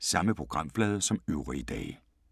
Samme programflade som øvrige dage